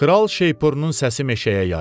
Kral şeypurunun səsi meşəyə yayıldı.